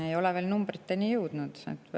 Me ei ole veel numbriteni jõudnud.